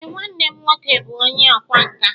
Ee, nwanne m nwoke bụ onye ọkwá nkà